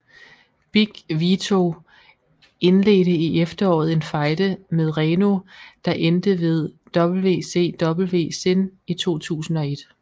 Big Vito indledte i efteråret en fejde med Reno der endte ved WCW Sin i 2001